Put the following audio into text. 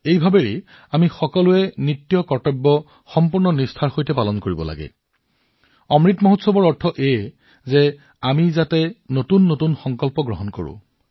সেই ভাৱনাৰ সৈতে আমি সকলোৱে আমাৰ নিৰ্ধাৰিত দায়িত্ববোৰ সম্পূৰ্ণ নিষ্ঠাৰে পালন কৰা উচিত আৰু স্বাধীনতাৰ অমৃত উৎসৱৰ অৰ্থ হৈছে যে আমি নতুন সংকল্প গ্ৰহণ কৰিম